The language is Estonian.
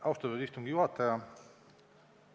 Austatud istungi juhataja!